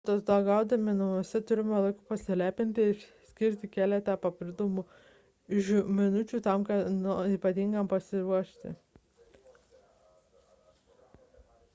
atostogaudami namuose turite laiko pasilepinti ir skirti keletą papildomų minučių kam nors ypatingam pasiruošti